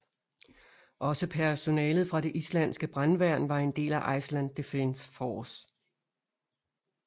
Også personalet fra det islandske brandværn var en del af Iceland Defense Force